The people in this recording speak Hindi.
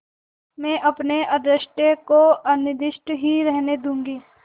मैं अपने अदृष्ट को अनिर्दिष्ट ही रहने दूँगी